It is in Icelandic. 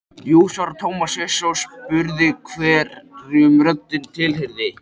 Jú svaraði Tómas hissa og spurði hverjum röddin til- heyrði.